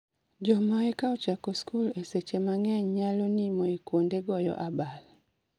joma eka ochako skul e seche mang'eny naylo nimo e kwonde goyo abal